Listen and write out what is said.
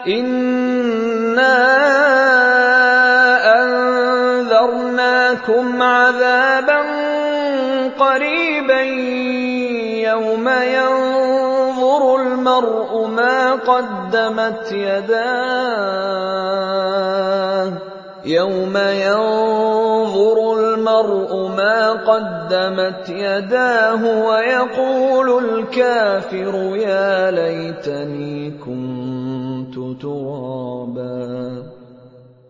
إِنَّا أَنذَرْنَاكُمْ عَذَابًا قَرِيبًا يَوْمَ يَنظُرُ الْمَرْءُ مَا قَدَّمَتْ يَدَاهُ وَيَقُولُ الْكَافِرُ يَا لَيْتَنِي كُنتُ تُرَابًا